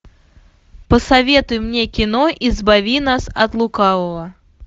посоветуй мне кино избави нас от лукавого